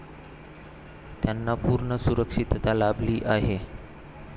त्यांना पूर्ण सुरक्षितता लाभली आहे.